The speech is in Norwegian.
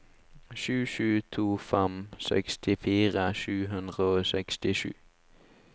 sju sju to fem sekstifire sju hundre og sekstisju